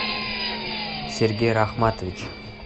сергей рахматович